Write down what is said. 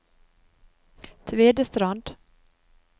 Tvedestrand